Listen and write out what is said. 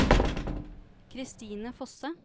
Christine Fosse